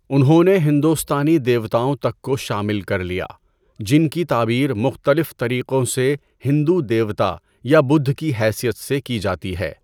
انہوں نے ہندوستانی دیوتاؤں تک کو شامل کر لیا، جن کی تعبیر مختلف طریقوں سے ہندو دیوتا یا بدھا کی حیثیت سے کی جاتی ہے۔